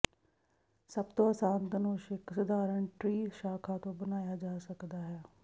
ਸਭ ਤੋਂ ਆਸਾਨ ਧਨੁਸ਼ ਇੱਕ ਸਧਾਰਨ ਟ੍ਰੀ ਸ਼ਾਖਾ ਤੋਂ ਬਣਾਇਆ ਜਾ ਸਕਦਾ ਹੈ